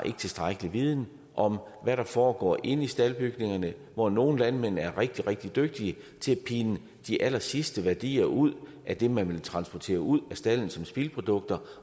tilstrækkelig viden om hvad der foregår inde i staldbygningerne hvor nogle landmænd er rigtig rigtig dygtige til at pine de allersidste værdier ud af det man vil transportere ud af stalden som spildprodukter